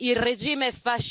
Frau Kollegin!